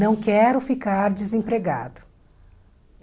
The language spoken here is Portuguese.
Não quero ficar desempregado.